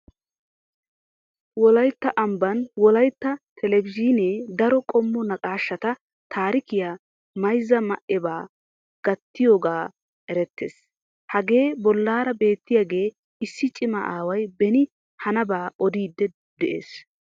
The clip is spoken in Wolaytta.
Wolaytta amban wolaytta talabzhiinee daro qommo naaqashshata, taarikiya, mayzza ma'eba gattiyogan erettees. Hagee bollara beettiyagee issi ciima away beni hanaaba odidi de'ees.